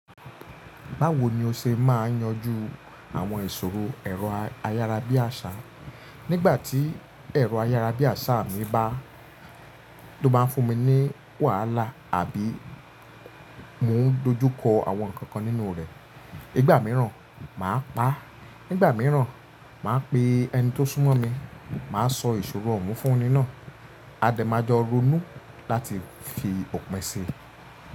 Báwo ni o ṣe máa ń yanjú àwọn ìṣòro ẹ̀rọ ayárabíàṣá, nígbà tí ẹ̀rọ ayárabíàṣá mi bá tó ba ń fún mi ní wàhálà àbí mo ń dojú kọ àwọn nǹkan kan nínú rẹ̀? Nígbà mìíràn, màá pa á, nígbà mìíràn, màá pe ẹni tó súnmọ́ mi, màá sọ ìṣòro oun fún ení náà. A dẹ̀ máa jọ ronú láti fi òpin ṣii.